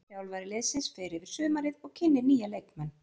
Þjálfari liðsins fer yfir sumarið og kynnir nýja leikmenn.